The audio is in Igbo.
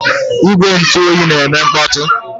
Igwe ntụ oyi na-eme mkpọtụ.